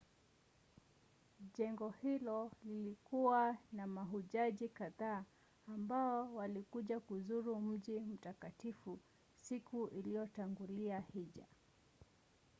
jengo hilo lilikuwa na mahujaji kadhaa ambao walikuja kuzuru mji mtakatifu siku iliyotangulia hija